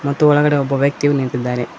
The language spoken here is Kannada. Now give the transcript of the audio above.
ಮತ್ತು ಒಳಗಡೆ ಒಬ್ಬ ವ್ಯಕ್ತಿಯು ನಿಂತಿದ್ದಾನೆ.